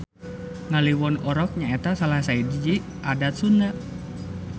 Ngaliwon Orok nyaeta salah sahiji adat Sunda.